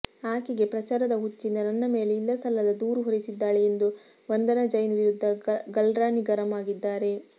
ಆಕೆಗೆ ಪ್ರಚಾರದ ಹುಚ್ಚಿಂದ ನನ್ನ ಮೇಲೆ ಇಲ್ಲಸಲ್ಲದ ದೂರು ಹೊರಿಸಿದ್ದಾಳೆ ಎಂದು ವಂದನಾ ಜೈನ್ ವಿರುದ್ಧ ಗಲ್ರಾನಿ ಗರಂ ಆಗಿದ್ದಾರೆ